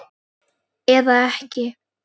Eða ekki.